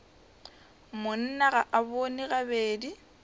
monna ga a bone gabedi